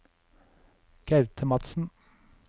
Gaute Madsen